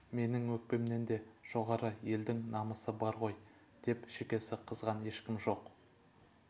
менің өкпемнен де жоғары елдің намысы бар ғой деп шекесі қызған ешкім жоқ